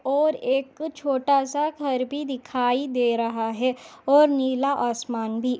और एक छोटा सा घर भी दिखाई दे रहा है और नीला आसमान भी --